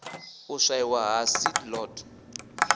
u swaiwa ha seed lot